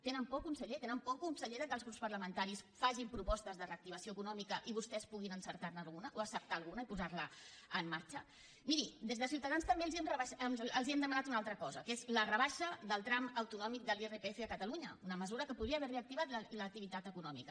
tenen por conseller tenen por conseller que els grups parlamentaris facin propostes de reactivació econòmica i vostès puguin acceptar ne alguna i posar la en marxa miri des de ciutadans també els hem demanat una altra cosa que és la rebaixa del tram autonòmic de l’irpf a catalunya una mesura que podria haver reactivat l’activitat econòmica